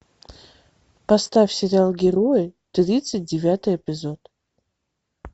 поставь сериал герои тридцать девятый эпизод